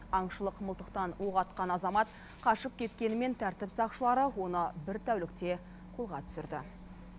аңшылық мылтықтан оқ атқан азамат қашып кеткенімен тәртіп сақшылары оны бір тәулікте қолға түсірді